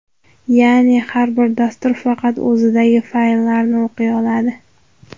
Ya’ni har bir dastur faqat o‘zidagi fayllarni o‘qiy oladi.